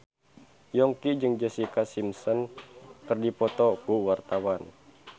Yongki jeung Jessica Simpson keur dipoto ku wartawan